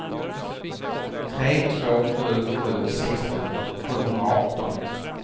tre två sju sju sextio sjuhundraarton